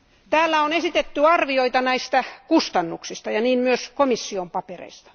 Täällä on esitetty arvioita näistä kustannuksista ja niin myös komission papereissa.